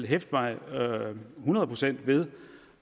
hæfter mig hundrede procent ved